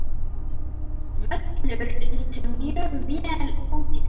Völlur lítur mjög vel út.